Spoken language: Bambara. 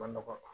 Nɔgɔ